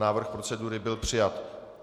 Návrh procedury byl přijat.